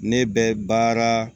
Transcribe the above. Ne bɛ baara